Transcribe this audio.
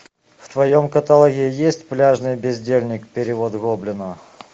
в твоем каталоге есть пляжный бездельник перевод гоблина